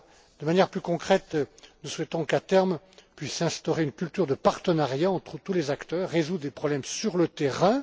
PME. De manière plus concrète, nous souhaitons qu'à terme puisse s'instaurer une culture de partenariat entre tous les acteurs et résoudre les problèmes sur le terrain.